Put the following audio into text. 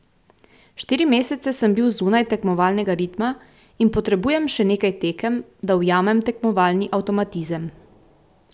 Štiri mesece sem bil zunaj tekmovalnega ritma in potrebujem še nekaj tekem, da ujamem tekmovalni avtomatizem.